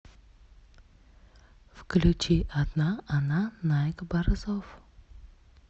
включи одна она найк борзов